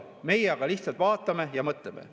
Meie aga lihtsalt vaatame ja mõtleme.